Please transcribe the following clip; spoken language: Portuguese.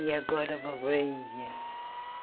E agora vou para a Índia.